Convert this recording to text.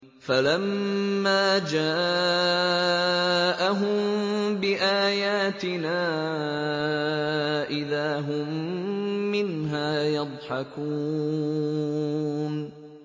فَلَمَّا جَاءَهُم بِآيَاتِنَا إِذَا هُم مِّنْهَا يَضْحَكُونَ